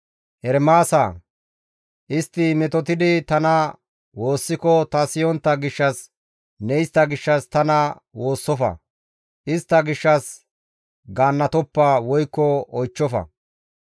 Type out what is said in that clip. «Ermaasa, istti metotidi tana woossiko ta siyontta gishshas ne istta gishshas tana woossofa; istta gishshas gaannatoppa woykko oychchofa.